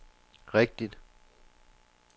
rigtigt